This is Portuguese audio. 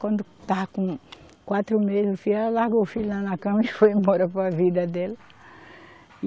Quando estava com quatro meses, o filho, ela largou o filho lá na cama e foi embora para a vida dela.